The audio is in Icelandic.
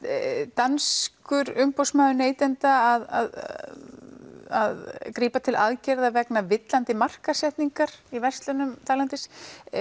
danskur umboðsmaður neytenda að grípa til aðgerða vegna villandi markaðssetningar í verslunum þarlendis